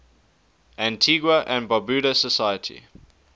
antigua and barbuda society